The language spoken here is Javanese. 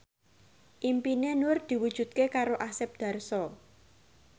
impine Nur diwujudke karo Asep Darso